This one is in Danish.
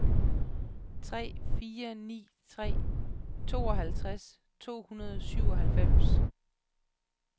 tre fire ni tre tooghalvtreds to hundrede og syvoghalvfems